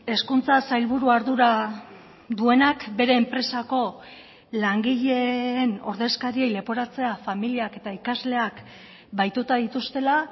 hezkuntza sailburua ardura duenak bere enpresako langileen ordezkariei leporatzea familiak eta ikasleak bahituta dituztela